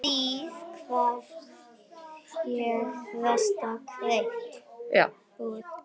Því gat ég alltaf treyst.